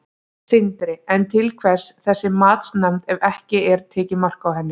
Sindri: En til hvers þessi matsnefnd ef að ekki er tekið mark á henni?